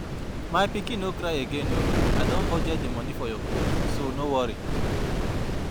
My pikin no cry again oo, I don budget the money for your cloth so no worry